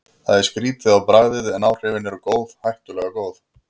Það er skrýtið á bragðið, en áhrifin eru góð, hættulega góð.